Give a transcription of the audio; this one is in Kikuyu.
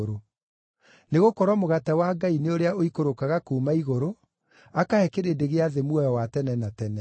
Nĩgũkorwo mũgate wa Ngai nĩ ũrĩa ũikũrũkaga kuuma igũrũ akahe kĩrĩndĩ gĩa thĩ muoyo wa tene na tene.”